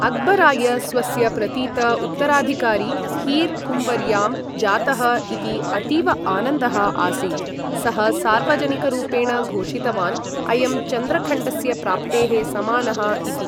अक्बराय स्वस्य प्रतीत उत्तराधिकारी हीर् कुँवर्यां जातः इति अतीव आनन्दः आसीत्, सः सार्वजनिकरूपेण घोषितवान् अयं चन्द्रखण्डस्य प्राप्तेः समानः इति।